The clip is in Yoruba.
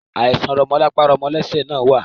Àìsàn rọmọlapa-rọmọlésẹ̀ náà wá.